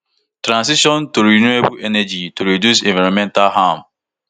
transition to renewable energy to reduce environmental harm